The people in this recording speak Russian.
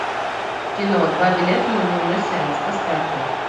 в кино два билета на дневной сеанс поставь ка